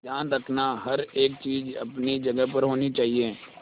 ध्यान रखना हर एक चीज अपनी जगह पर होनी चाहिए